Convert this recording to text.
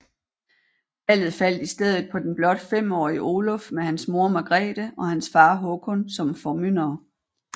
Valget faldt i stedet på den blot femårige Oluf med hans mor Margrete og hans far Håkon som formyndere